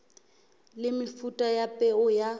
le mefuta ya peo ya